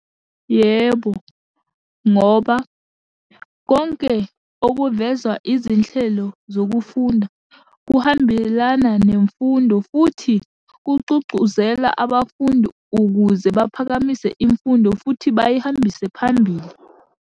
Yebo, ngoba konke okuvezwa izinhlelo zokufunda kuhambelana nemfundo futhi kuxuxuzela abafundi ukuze baphakamise imfundo futhi bayihambise phambili.